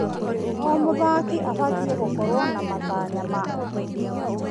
O mũthaki abatiĩ gũkorwo na matanya ma ũtheri.